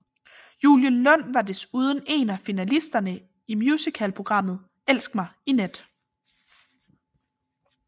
Julie Lund var desuden én af finalisterne i musicalprogrammet Elsk mig i nat